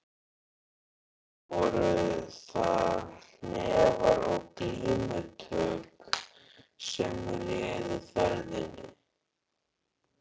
Og nú voru það hnefar og glímutök sem réðu ferðinni.